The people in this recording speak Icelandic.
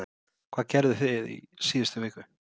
Hvað gerðuð þið í síðustu viku?